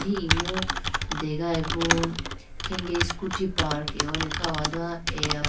Emu degayi bo khenge scooty park ahone kha do eya.